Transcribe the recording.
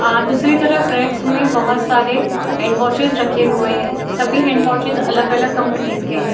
आ दूसरी तरफ रेक्स मे बहुत सारे हैंड वाशेस रखे हुए हैं | सभी हैंड वाशेस अलग अलग कंपनीज के है।